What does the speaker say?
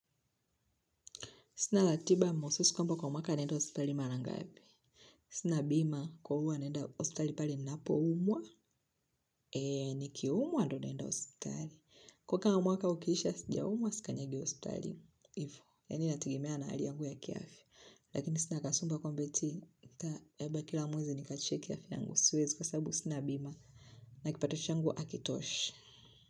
Sina latiba maususi kwamba kwa mwaka naenda hospitali marangapi. Sina bima kwa huo naenda hospitali pali napo umwa. Eee, nikiumwa ndo nenda hospitali. Kwa kwa mwaka ukisha sijaumwa, sikanyagi hospitali. Ivo, yani inatigimea na hali yangu ya kiafya. Lakini sina kasombo ya ta, labba kila mwezi nikache kiafya yangu. Siwezi kwa sabu sina bima. Nakipato changu akitoshe.